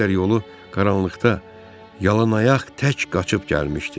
O qədər yolu qaranlıqda yalanaq tək qaçıb gəlmişdi.